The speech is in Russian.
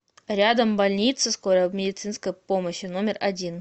рядом больница скорой медицинской помощи номер один